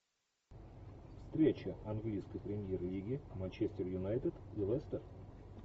встреча английской премьер лиги манчестер юнайтед и лестер